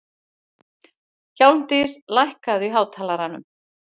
Hjálmdís, lækkaðu í hátalaranum.